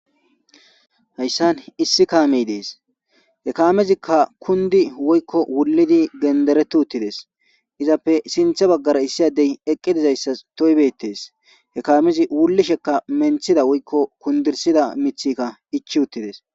hayssan issi kaamey dees he kaamezikka kundi woykko wullidi gendereti uttides izappe sinthe baggara issi adey eqqe dizayssas toybetees he kaamezi wulli shekka menthida woykko kundirsida mithikka ichi uttides